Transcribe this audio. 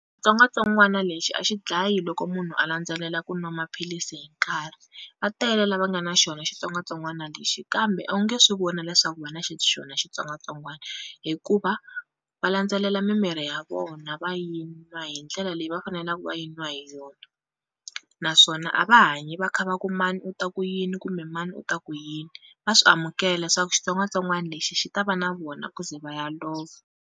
Xitsongwatsongwana lexi a xi dlayi loko munhu a landzelela ku nwa maphilisi hi nkarhi, va tele lava nga na xona xitsongwatsongwana lexi kambe a wu nge swi vona leswaku va na xona xitsongwatsongwana hikuva va landzelela mimirhi ya vona va yinwa hi ndlela leyi va fanelaku va yinwa hi yona, naswona a va hanyi va kha va ku mani u ta ku yini kumbe mani u ta ku yini va swi amukela leswaku xitsongwatsongwani lexi xi ta va na vona ku ze va ya lova.